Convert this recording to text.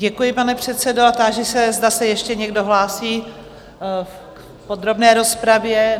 Děkuji, pane předsedo, a táži se, zda se ještě někdo hlásí v podrobné rozpravě?